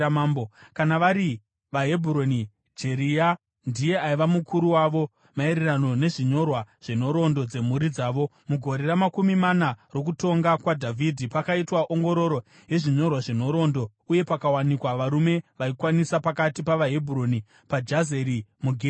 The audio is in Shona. Kana vari vaHebhuroni, Jeria ndiye aiva mukuru wavo maererano nezvinyorwa zvenhoroondo dzemhuri dzavo. (Mugore ramakumi mana rokutonga kwaDhavhidhi, pakaitwa ongororo yezvinyorwa zvenhoroondo, uye pakawanikwa varume vaikwanisa pakati pavaHebhuroni paJazeri muGireadhi.